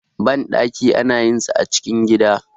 banɗaki ana yin sa a cikin gida